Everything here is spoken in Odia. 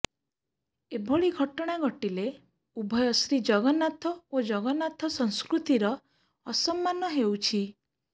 ଏଭଳି ଘଟଣା ଘଟିଲେ ଉଭୟ ଶ୍ରୀ ଜଗନ୍ନାଥ ଓ ଜଗନ୍ନାଥ ସଂସ୍କୃତିର ଅସମ୍ମାନ େହଉଛି